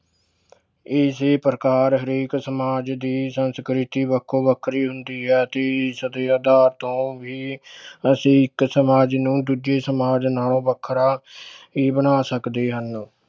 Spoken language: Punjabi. ਇਸੇ ਪ੍ਰਕਾਰ ਹਰੇਕ ਸਮਾਜ ਦੀ ਸੰਸਕ੍ਰਿਤੀ ਵੱਖੋ ਵੱਖਰੀ ਹੁੰਦੀ ਹੈ ਤੇ ਇਸ ਦੇ ਆਧਾਰ ਤੋਂ ਵੀ ਅਸੀਂ ਇੱਕ ਸਮਾਜ ਨੂੰ ਦੂਜੇ ਸਮਾਜ ਨਾਲੋਂ ਵੱਖਰਾ ਹੀ ਬਣਾ ਸਕਦੇ ਹਨ।